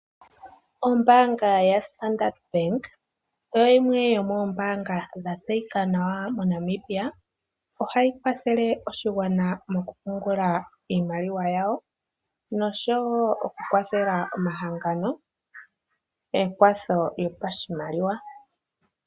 Ombaanga ya Standard Bank oyo yimwe yomoombaanga dhatseyika nawa moNamibia. Ohayi kwathele oshigwana mokupungula iimaliwa yawo, osho wo okukwathela omahangano ekwatho lyopashimaliwa.